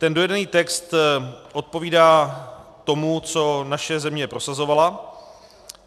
Ten dojednaný text odpovídá tomu, co naše země prosazovala.